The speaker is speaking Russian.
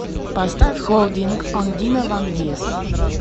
поставь холдинг он дина ван диест